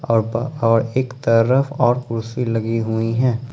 और एक तरफ और कुर्सी लगी हुई है।